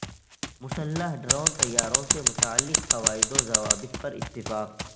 مسلح ڈرون طیاروں سے متعلق قواعد و ضوابط پر اتفاق